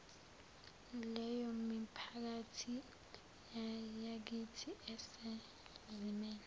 leyomiphakathi yakithi esezimeni